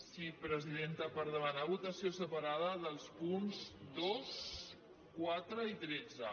sí presidenta per demanar votació separada dels punts dos quatre i tretze